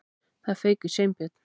Það fauk í Sveinbjörn.